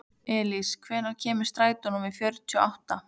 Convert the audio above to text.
Elís, hvenær kemur strætó númer fjörutíu og átta?